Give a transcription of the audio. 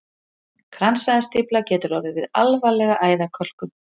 Kransæðastífla getur orðið við alvarlega æðakölkun.